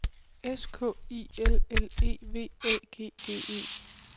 S K I L L E V Æ G G E